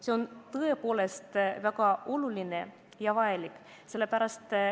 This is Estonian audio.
See on tõepoolest väga oluline ja vajalik.